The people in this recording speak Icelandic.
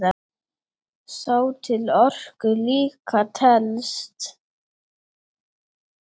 Sá til orku líka telst.